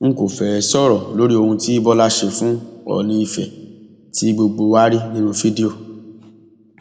n kò fẹẹ sọrọ lórí ohun tí bọlá ṣe fún oòní ìfẹ tí gbogbo wa rí nínú fídíò